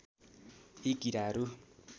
यी किराहरू